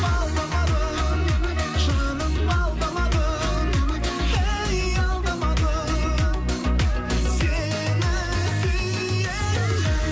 алдамадым жаным алдамадым әй алдамадым сені сүйемін